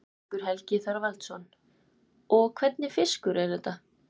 Haukur Helgi Þorvaldsson: Og hvernig fiskur er þetta?